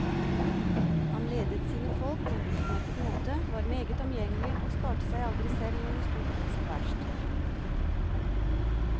Han ledet sine folk på en utmerket måte, var meget omgjengelig, og sparte seg aldri selv når det sto på som verst.